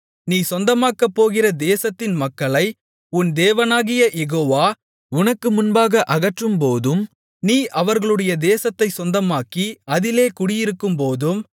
நீ சொந்தமாக்கப்போகிற தேசத்தின் மக்களை உன் தேவனாகிய யெகோவா உனக்கு முன்பாக அகற்றும்போதும் நீ அவர்களுடைய தேசத்தைச் சொந்தமாக்கி அதிலே குடியிருக்கும்போதும்